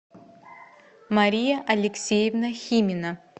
мария алексеевна химина